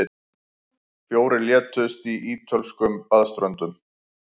Fjórir létust á ítölskum baðströndum